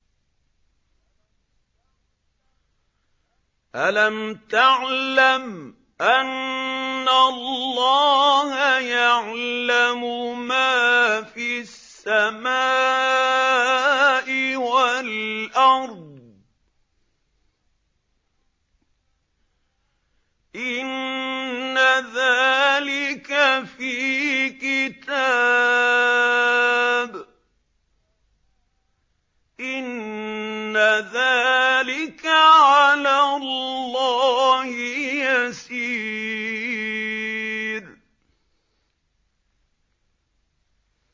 أَلَمْ تَعْلَمْ أَنَّ اللَّهَ يَعْلَمُ مَا فِي السَّمَاءِ وَالْأَرْضِ ۗ إِنَّ ذَٰلِكَ فِي كِتَابٍ ۚ إِنَّ ذَٰلِكَ عَلَى اللَّهِ يَسِيرٌ